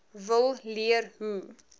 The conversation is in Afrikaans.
wil leer hoe